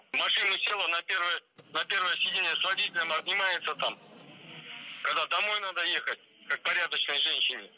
в машину села на первое сиденье с водителем обнимается там когда домой надо ехать как порядочной женщине